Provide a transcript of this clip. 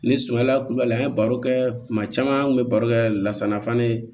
Ni suman la kulubali an ye baro kɛ kuma caman an kun bɛ baro kɛ lasanafan de